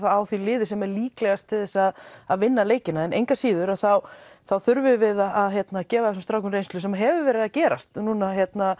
á því liði sem er líklegast til að að vinna leikina en engu að síður þá þurfum við að gefa þessum strákum reynslu sem hefur verið að gerast núna